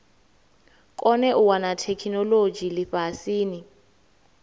kone u wana theikinolodzhi lifhasini